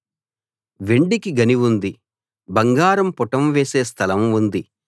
వెండికి గని ఉంది బంగారం పుటం వేసే స్థలం ఉంది